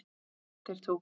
Þeir tóku